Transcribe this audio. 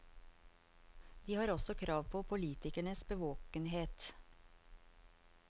De har også krav på politikernes bevåkenhet.